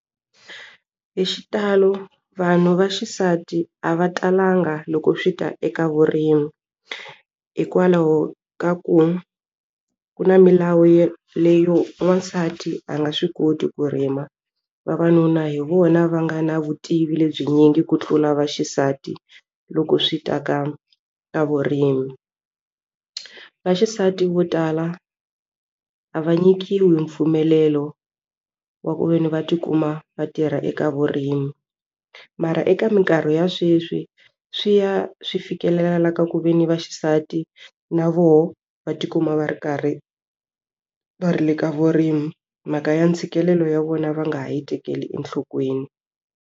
Hi xitalo vanhu vaxisati a va talanga loko swi ta eka vurimi hikwalaho ka ku ku na milawu yo leyo n'wansati a nga swi koti ku rima vavanuna hi vona va nga na vutivi lebyi nyingi ku tlula vaxisati loko swi ta ka ka vurimi vaxisati vo tala a va nyikiwi mpfumelelo wa ku veni va tikuma va tirha eka vurimi mara eka minkarhi ya sweswi swi ya swi fikelela la ka ku ve ni va xisati na voho va tikuma va ri karhi va ri le ka vurimi mhaka ya ntshikelelo ya vona va nga ha yi tekeli enhlokweni.